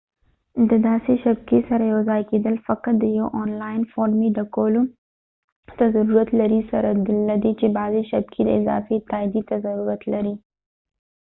د داسې شبکې سره یوځای کیدل فقط د یو اونلاین فورمې ډکولو ته ضرورت لري سره لدې چې بعضې شبکې د اضافی تائیدۍ ته ضرورت لري